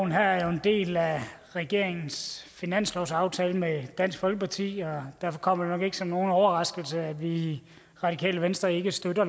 her er jo en del af regeringens finanslovsaftale med dansk folkeparti og derfor kommer det nok ikke som nogen overraskelse at vi i radikale venstre ikke støtter